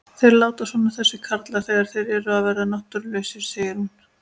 Þeir láta svona þessir karlar þegar þeir eru að verða náttúrulausir, segir hún.